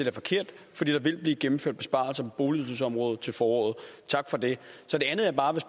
er forkert for der vil blive gennemført besparelser på boligydelsesområdet til foråret tak for det